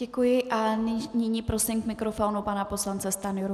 Děkuji a nyní prosím k mikrofonu pana poslance Stanjuru.